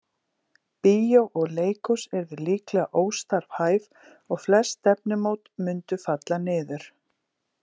Bíó og leikhús yrðu líklega óstarfhæf og flest stefnumót mundu falla niður.